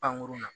Pankurun na